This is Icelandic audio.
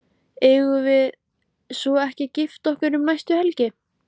Eigum við svo ekki að gifta okkur um næstu helgi?